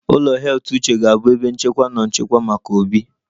Ụlọ heath uche ga-abụ ebe nchekwa na nchekwa maka Obi